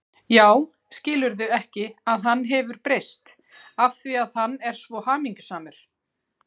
Já, skilurðu ekki að hann hefur breyst af því að hann er svo hamingjusamur.